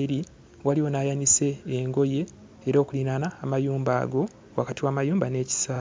eri. Waliwo n'ayanise engoye era okuliraana amayumba ago wakati w'amayumba n'ekisaawe.